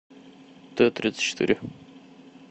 т тридцать четыре